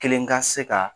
Kelen ka se ka